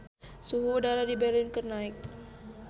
Suhu udara di Berlin keur naek